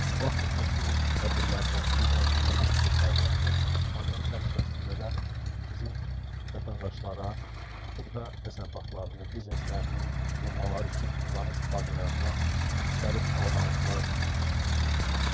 Bu aktiv məşğulluq tədbirlərinin biri də özünəməşğulluq proqramıdır ki, proqram çərçivəsində də bizim vətəndaşlara xırda təsərrüfatlarını, bizneslərini qurmaqları üçün onların istifadələrinə müxtəlif avadanlıqlar verilir.